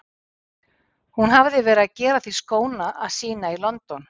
Hún hafði verið að gera því skóna að sýna í London.